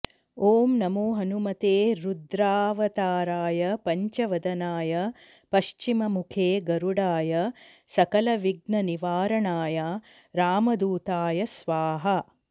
ॐ नमो हनुमते रुद्रावताराय पञ्चवदनाय पश्चिममुखे गरुडाय सकलविघ्ननिवारणाय रामदूताय स्वाहा